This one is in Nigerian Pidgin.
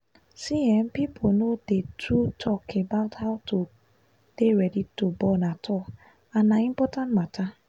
see ehnpeople no dey too talk about how to de ready to born atall and na important matter